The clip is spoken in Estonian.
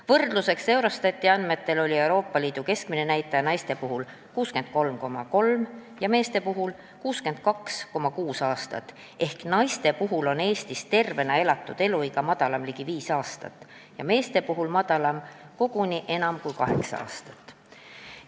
Võrdluseks: Eurostati andmetel oli Euroopa Liidu keskmine näitaja naistel 63,3 ja meestel 62,6 aastat ehk Eestis on naiste tervena elatud eluiga ligi viis aastat lühem ja meestel on see koguni enam kui kaheksa aastat lühem.